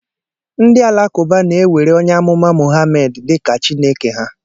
Ndị Alakụba na-ewere onye amụma Muhammad dị ka Chineke ha